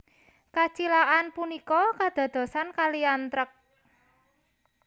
Kacilakan punika kadadosan kaliyan trek